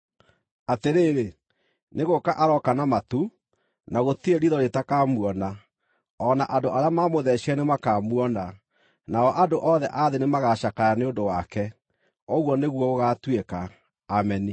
Atĩrĩrĩ, nĩ gũũka arooka na matu, na gũtirĩ riitho rĩtakamuona, o na andũ arĩa maamũtheecire nĩmakamuona; nao andũ othe a thĩ nĩmagacakaya nĩ ũndũ wake. Ũguo nĩguo gũgaatuĩka! Ameni.